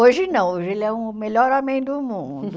Hoje não, hoje ele é o melhor homem do mundo.